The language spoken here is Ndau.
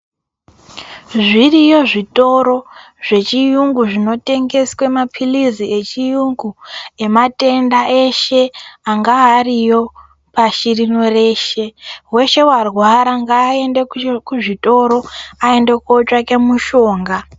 Zviriyo zvitoro zvechiyungu zvinotengese maphilizi echiungu, ematenda eshe angava ariyo pashi rino reshe. Weshe warwara ngayende kuzvitoro, ayende kotsvake mushonga.